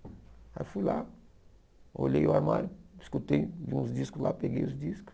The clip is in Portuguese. Aí eu fui lá, olhei o armário, escutei uns discos lá, peguei os discos.